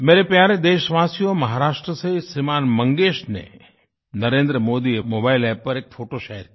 मेरे प्यारे देशवासियो महाराष्ट्र से श्रीमान् मंगेश ने नरेंद्र मोदी मोबाइल App पर एक फोटो शेयर की